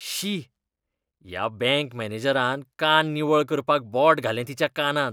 शी, ह्या बँक मॅनेजरान कान निवळ करपाक बोट घालें तिच्या कानांत .